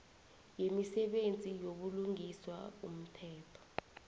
yemisebenzi yobulungiswa umthetho